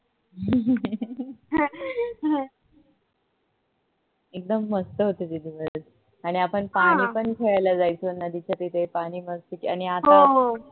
एकदम मस्त होते ते दिवस आणि आपण पाणी पण खेळायला जायचो नदीच्या तिथे आणि आता